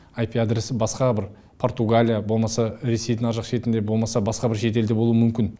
аипи адресі басқа бір португалия болмаса ресейдің арғы жақ шетінде болмаса басқа бір шет елде болуы мүмкін